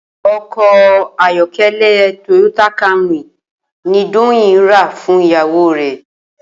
O̩kò̩ ayó̩ké̩lé̩ Toyota Camry ni Doyin rà fún ìyàwó rè̩